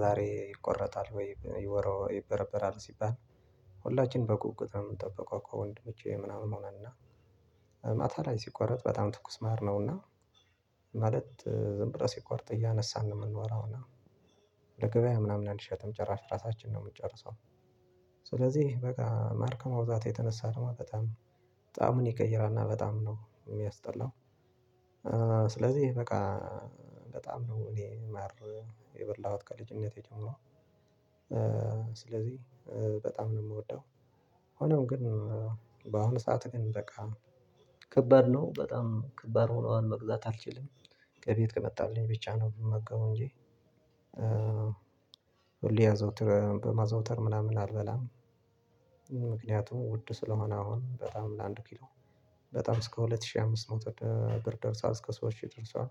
ዛሬ ይቆረጣል ወይም ይወረው ይበረበራል ሲባል ሁላችንም በጉጉት ነው የምንጠብቀው። ከወንድሞቼ ምናምን ሆነና። ማታ ላይ ሲቆረጥ በጣም ትኩስ ማር ነውና ማለት ዝም ብሎ ሲቆርጥ እያነሳን ነው የምንበላው። እና ለገበያ ምናምን አንሸጥም ጭራሽ ራሳችን ነው የምንጨርሰው። ስለዚህ በቃ ማር ከመብዛቱ የተነሳ ደግሞ በጣም ጣሙን ይቀይራል እና በጣም ነው የሚያስጠላው። ስለዚህ በቃ በጣም ነው እኔ ማር የበላሁት ከልጅነቴ ጀምሮ ስለዚህ በጣም ነው የምወደው። ሆኖም ግን በአሁኑ ሰዓት ግን በቃ ከባድ ነው በጣም ከባድ ሆኗል መግዛት አልችልም። ከቤት ከመጣልኝ ብቻ ነው የምመገበው እንጂ ሁሌ ያዘውትር በማዘውተር ምናምን አልበላም። ምክንያቱም ውድ ስለሆነ አሁን በጣም ለአንድ ኪሎ በጣም እስከ ሁለት ሺህ አምስት መቶ ብር ደርሷል። እስከ ሶስት ሺህ ይጥርሳል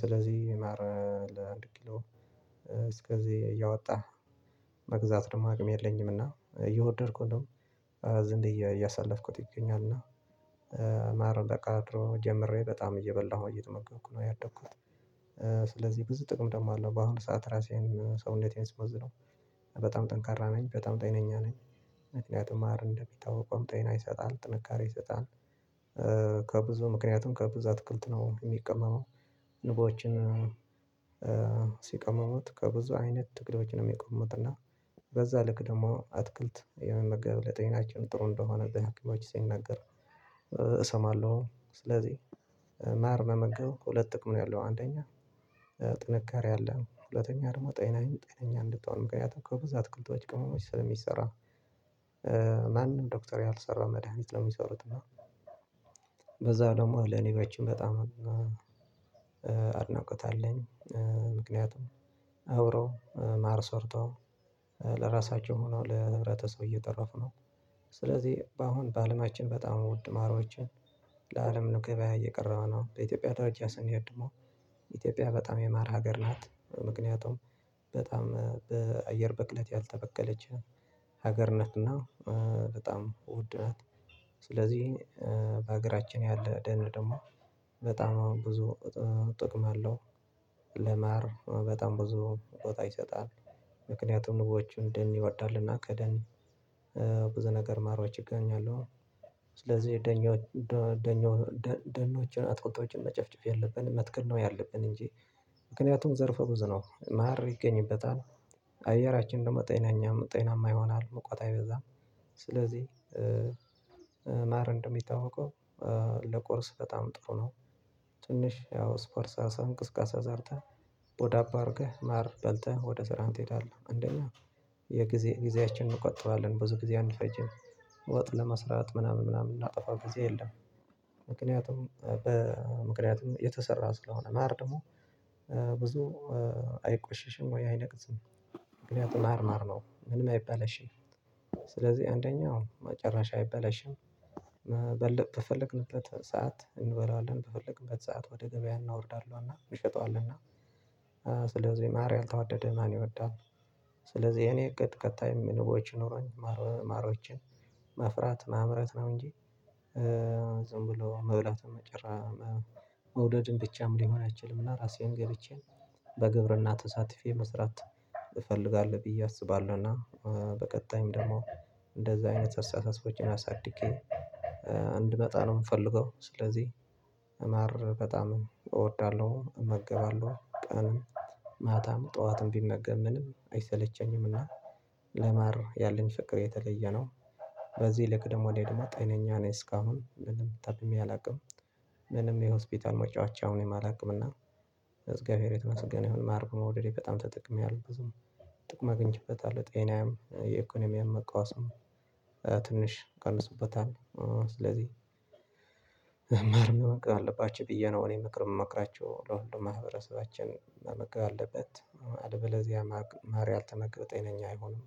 ስለዚህ ማር ለአንድ ኪሎ እስከዚህ እያወጣ መግዛት ደግሞ አቅም የለኝምና። እየወደድኩ እንደውም ዝም በየ እያሳለፍኩት ይገኛልና። ማር ከድሮ ጀምሬ በጣም እየበላሁ እየተመገብኩ ነው ያደኩት። ስለዚህ ብዙ ጥቅም ደግሞ አለው በአሁኑ ሰዓት ራሴን ሰውነቴን ስመዝነው በጣም ጠንካራ ነኝ በጣም ጤነኛ ነኝ። ምክንያቱም ማር እንደሚታወቀው ጤና ይሰጣል ጥንካሬ ይሰጣል። ከብዙ ምክንያቱም ከብዙ አትክልት ነው የሚቀመመው። ንቦችም ሲቀመሙት ከብዙ አይነት ቅጠሎች ነው የሚቀመሙት። እና ልክ ደግሞ አትክልት የመመገብ ለጤናችን ጥሩ እንደሆነ በሀኪሞች ሲነገር እሰማለሁ። ስለዚህ ማር መመገብ ሁለት ጥቅም ነው ያለው። አንደኛ ጥንካሬ አለ ሁለተኛ ደግሞ ጤናዬን ጤነኛ እንድትሆን ምክንያቱም ከብዙ አትክልቶች ቅመሞች ስለሚሰራ። ማንም ዶክተር ያልሰራውን መድሃኒት ነው የሚሰሩት። እና በዛው ደግሞ ለንቦችም በጣም አድናቆት አለኝ። ምክንያቱም አብረው ማር ሰርተው ለራሳቸው ሆኖው ለህብረተሰቡ እየተረፉ ነው። ስለዚህ በአሁን በአለማችን በጣም ወድ ማሮችን ለአለም ገብያ እየቀረበ ነው። በኢትዮጵያ ደርጃ ሰንሄድ ደግሞ ኢትዮጵያ በጣም የማር ሀገር ናት። ምክንያቱም በጣም በአየር በክለት ያልተበከለች ሀገር ነች። እና በጣም ውድ ናት። ስለዚህ በሀገራችን ያለ ደን ደግሞ በጣም አሁን ብዙ ጥቅም አለው። ለማር በጣም ብዙ ቦታ ይሰጣል። ምክንያቱም ንቦች ደን ይወዳሉና ከደን ብዙ ነገር ማሮች ይገኛሉ። ስለዚህ ደኛው ደኛው ደኖችን አትክልቶችን መጨፍጨፍ ያለብንም መትከል ነው ያለብን። እንጂ ምክንያቱም ዘርፈ ብዙ ነው ማር ይገኝበታል። አየራችን ደግሞ ጤናኛ ጤናማ ይሆናል ሙቀት አይበዛም። ስለዚህ ማር እንደሚታወቀው ለቁርስ በጣም ጥሩ ነው። ትንሽ ያው ስፖርት ሰርተህ እንቅስቃሴ ዘርተህ በዳቦ አድርገህ ማር በልተህ ወደ ስራህም ትሄዳለህ አንደኛው የጊዜ ጊዜያችንን እንቆጥባለን ብዙ ጊዜ አንፈጀም። ወጥ ለመስራት ምናምን ምናምን እምናጠፋው ጊዜ የለም። ምክንያቱም በምክንያቱም የተሰራ ስለሆነ ማር ደግሞ ብዙ አይቆሽሽም ወይ አይነቅዝም? ምክንያቱም ማር ማር ነው ምንም አይበላሽም። ስለዚህ አንደኛው ጭራሽ አይበላሽም። በፈለግንበት ሰዓት እንበለዋለን በፈለግንበት ሰዓት ወደ ገበያ እናወርደዋለንና እንሸጠዋልንና። ስለዚህ ማር ያልተወደደ ማን ይወዳል? ስለዚህ የእኔ እቅድ ቀጣይም ንቦች ኖሮኝ ማር ማሮችን ማፍራት ማምረት ነው። እንጂ ዝም ብሎ መብላት መውደድም ብቻ ሊሆን አይችልም። እና ራሴን ገብቼ በግብርና ተሳትፌ መስራት እፈልጋለሁ ብዬ አስባለሁና። በቀጣይም ደግሞ እንደዚህ አይነት አስተሳሰቦችን አሳድጌ እንድመጣ ነው የምፈልገው። ስለዚህ ማር በጣም እወዳለሁ እመገባለሁ ቀንም ማታም ጠዋትም ብመገብ ምንም አይሰለቸኝምና። ያለኝ ፍቅር የተለየ ነው። በዚህ ልክ ደግሞ እኔ ደግሞ ጤነኛ ነኝ እስካሁን ምንም ታምሜ አላውቅም። ምንም የሆስፒታል መጫወቻ ሆኘም አላውቅም። እና እግዚአብሔር የተመስገን ይሁን ማር በመውደዴ በጣም ተጠቅሜአለሁ ብዙ ጥቅም አግኝቼበታለሁ። ጤኔየም የኢኮኖሚየም መቃወስም ትንሽ ቀንሶበታል። ስለዚህ ማር መመገብ አለባቸሁ ብዬ ነው እኔ ምክር የምመክራችሁ ለሁሉም ማህበረሰባችን መመገብ አለበት አለበለዚያ ማር ያልተመገበ ጤነኛ አይሆንም።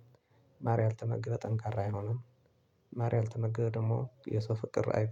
ማር ያልተመገበ ጠንካራ አይሆንም። ማር ያልተመገበ ደግሞ የሰው ፍቅር አይ